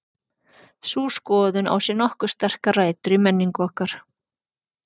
sú skoðun á sér nokkuð sterkar rætur í menningu okkar